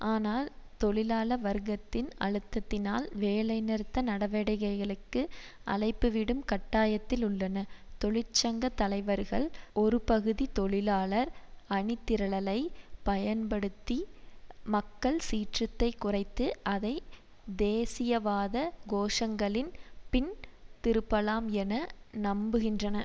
ஆனால் தொழிலாள வர்க்கத்தின் அழுத்தத்தினால் வேலைநிறுத்த நடவடிக்கைகளுக்கு அழைப்புவிடும் கட்டாயத்தில் உள்ளன தொழிற்சங்க தலைவர்கள் ஒருபகுதி தொழிலாளர் அணிதிரளலை பயன்படுத்தி மக்கள் சீற்றத்தை குறைத்து அதை தேசியவாத கோஷங்களின் பின் திருப்பலாம் என நம்புகின்றன